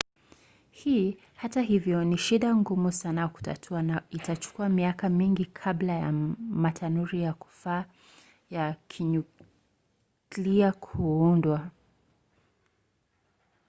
hii hata hivyo ni shida ngumu sana kutatua na itachukua miaka mingi kabla ya matanuri ya kufaa ya kinyuklia kuundwa